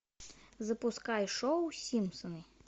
запускай шоу симпсоны